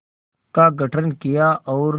का गठन किया और